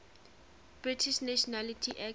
british nationality act